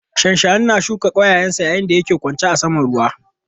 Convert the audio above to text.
Shanshani na shuka ƙwayayensa yayin da yake ƙwace saman ruwa.